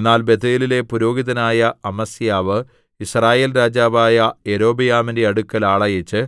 എന്നാൽ ബേഥേലിലെ പുരോഹിതനായ അമസ്യാവ് യിസ്രായേൽ രാജാവായ യൊരോബെയാമിന്റെ അടുക്കൽ ആളയച്ച്